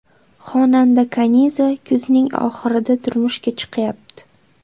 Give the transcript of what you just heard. Xonanda Kaniza kuzning oxirida turmushga chiqyapti.